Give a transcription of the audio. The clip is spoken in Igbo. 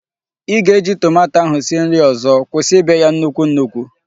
Ị ga-eji tomato ahụ sie nri ọzọ. Kwụsị ibe ya nnukwu nnukwu!